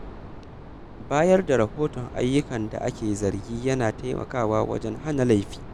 Bayar da rahoton ayyukan da ake zargi yana taimakawa wajen hana laifi.